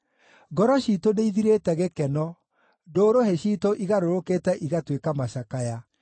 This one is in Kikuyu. Ngoro ciitũ nĩithirĩte gĩkeno; ndũrũhĩ ciitũ igarũrũkĩte igatuĩka macakaya.